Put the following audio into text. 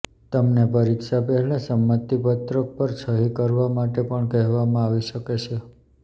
તમને પરીક્ષા પહેલાં સંમતિ પત્રક પર સહી કરવા માટે પણ કહેવામાં આવી શકે છે